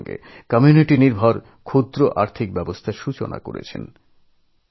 একইসঙ্গে তাদের জন্য সমবায় ভিত্তিক ক্ষুদ্র অর্থব্যবস্থা শুরু করেন